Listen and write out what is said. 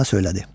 Mövlanə söylədi.